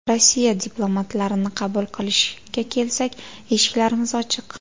Rossiya diplomatlarini qabul qilishga kelsak, eshiklarimiz ochiq.